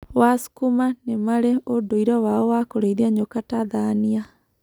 Wasukuma nĩ marĩ ũndũire wao wa kũrĩithia nyoka Tathania